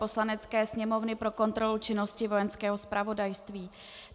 Poslanecké sněmovny pro kontrolu činnosti Vojenského zpravodajství